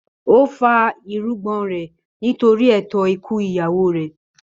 Ó fá irungbọ̀n rẹ̀ nítorí ètò ikú ìyàwó rẹ̀.